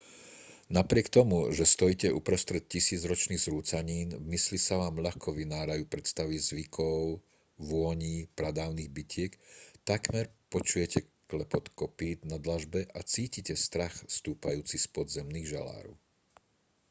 napriek tomu že stojíte uprostred tisícročných zrúcanín v mysli sa vám ľahko vynárajú predstavy zvukov a vôní pradávnych bitiek takmer počujete klepot kopýt na dlažbe a cítite strach stúpajúci z podzemných žalárov